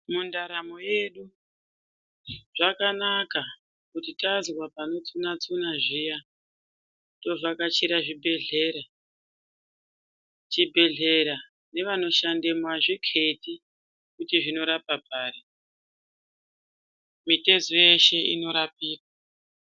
Mundaramo yedu zvakana kuti tazwa panotsuna tsuna zviya tovhakachira zvibhehlera. Chibhehlera nevanoshandemo azvikheti kuti zvinorapa pari. Mitezo yeshe inorapika.